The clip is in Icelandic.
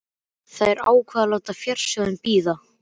Þær ákváðu að láta fjársjóðinn bíða.